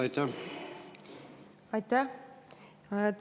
Aitäh!